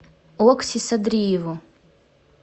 окси садриеву